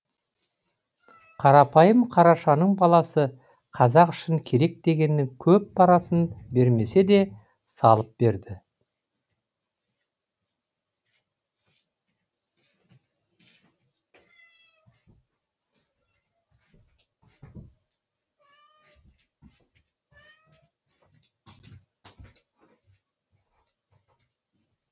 қарапайым қарашаның баласы қазақ үшін керек дегеннің көп парасын бермесе де салып берді